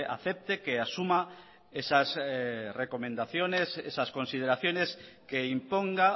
acepte que asuma esas recomendaciones esas consideraciones que imponga